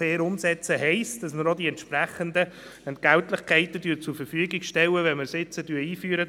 Fair umsetzen heisst, dass man die entsprechenden Entgelte zur Verfügung stellt, wenn man die Vertrauensarbeitszeit jetzt einführt.